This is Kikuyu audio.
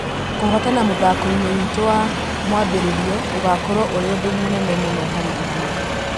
Kũhotana mũthakoinĩ witũ wa mwambĩ rĩ rio ũgũkorwo ũrĩ ũndũ mũnene mũno harĩ ithuĩ .